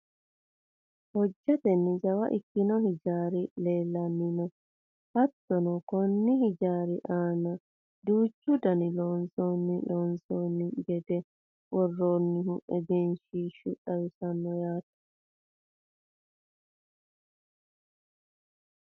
hojjatenni jawa ikkino hijaari leelanni no hattono konni hijaari aana duuchu dani looso loonsanni gede worroonnihu egenshiishshu xawisanno yaate .